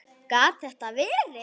Gat þetta verið?